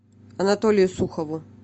анатолию сухову